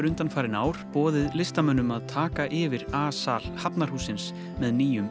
undanfarin ár boðið listamönnum að taka yfir a sal Hafnarhússins með